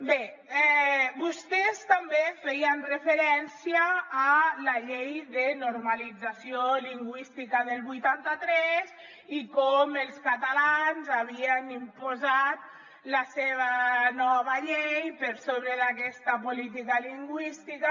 bé vostès també feien referència a la llei de normalització lingüística del vuitanta tres i com els catalans havien imposat la seva nova llei per sobre d’aquesta política lingüística